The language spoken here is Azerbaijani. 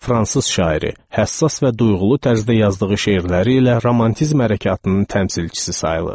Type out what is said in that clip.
Fransız şairi, həssas və duyğulu tərzdə yazdığı şeirləri ilə romantizm hərəkatının təmsilçisi sayılır.